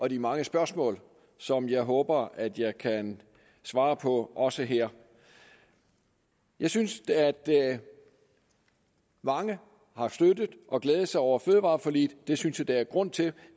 og de mange spørgsmål som jeg håber at jeg kan svare på også her jeg synes at mange har støttet og glædet sig over fødevareforliget det synes jeg der er grund til